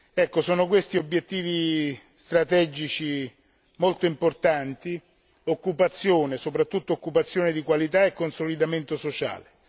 Ecco, questi sono obiettivi strategici molto importanti occupazione, soprattutto occupazione di qualità, e consolidamento sociale.